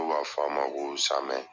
N'u b'a fɔ a ma ko Samɛ.